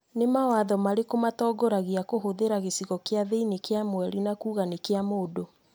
Nĩ mawatho marĩkũ matongoragia kũhũthĩra gĩcigo kĩna thĩinĩ wa Mweri na kuuga nĩ kĩa mũndũ?